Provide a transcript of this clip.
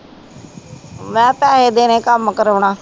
ਮੇਹਾ ਪੈਸੇ ਦੇਣੇ ਕਮ ਕਰੋਣਾ